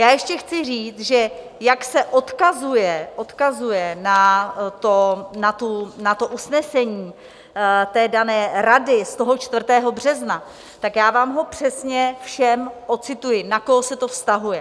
Já ještě chci říct, že jak se odkazuje na to usnesení té dané Rady z toho 4. března, tak já vám ho přesně všem odcituji, na koho se to vztahuje.